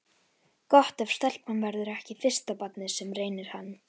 Gott ef stelpan verður ekki fyrsta barnið sem reynir hann.